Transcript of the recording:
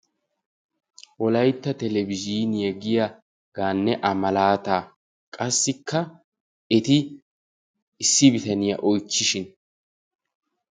Wolaytta televiizhiiniya gaanne a malaataa, qassikka eti issi bitaniya oychchishin.